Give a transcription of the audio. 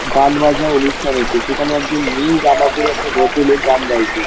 গানবাজনার অনুষ্ঠান হচ্ছে | সেখানে একজন নীল জামা পরে একটা ভদ্রলোক গান গাইছে।